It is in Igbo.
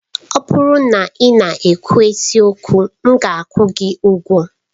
Ọ bụrụ na ị na-ekwu eziokwu, m ga-akwụ gị ụgwọ.